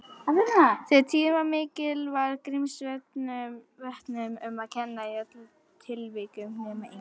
Þegar tíðni var mikil, var Grímsvötnum um að kenna í öllum tilvikum nema einu.